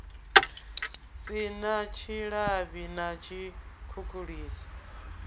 si na tshilavhi na tshikhukhuliso